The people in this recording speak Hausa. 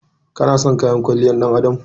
Ki/ka na son kayan kwalliyar ɗan adam?